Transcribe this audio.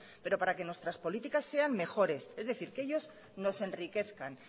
pero para que nuestras políticas sean mejores es decir que ellos nos enriquezcan